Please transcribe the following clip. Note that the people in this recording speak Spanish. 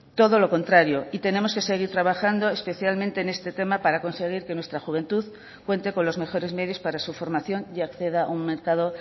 todo lo contrario y tenemos que seguir trabajando especialmente en este tema para conseguir que nuestra juventud cuente con los mejores medios para su formación y acceda a un mercado